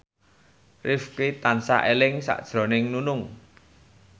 Rifqi tansah eling sakjroning Nunung